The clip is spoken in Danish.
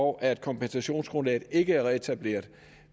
og at kompensationsgrundlaget ikke er reetableret